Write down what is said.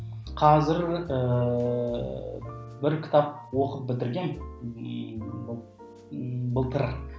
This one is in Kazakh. қазір ііі бір кітап оқып бітіргенмін былтыр